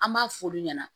An b'a f'olu ɲɛna